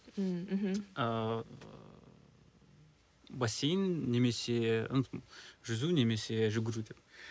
ммм мхм ыыы бассейн немесе жүзу немесе жүгіру деп